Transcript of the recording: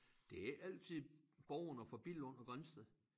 Det ikke altid borgerne fra Billund og Grindsted